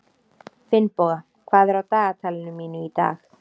Finnboga, hvað er á dagatalinu mínu í dag?